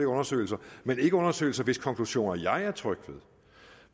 undersøgelser men ikke undersøgelser hvis konklusioner jeg er tryg ved